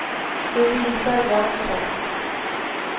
Lovisa Jönsson